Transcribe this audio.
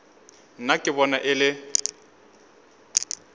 nna ke bona e le